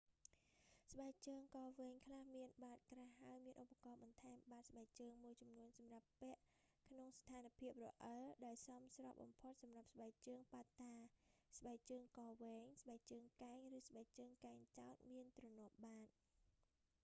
ស្បែកជើងក៏វែងខ្លះមានបាតក្រាស់ ហើយមានឧបករណ៍បន្ថែមបាតស្បែកជើងមួយចំនួនសម្រាប់ពាក់ក្នុងស្ថានភាពរអិល ដែលសមស្របបំផុតសម្រាប់ស្បែកជើងបាត់តា ស្បែងជើងកវែង ស្បែកជើងកែង ឬស្បែកជើងកែងចោទមានទ្រនាប់បាត